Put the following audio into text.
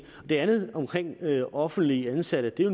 det andet det om offentligt ansatte er